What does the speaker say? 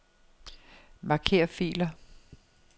Marker filer.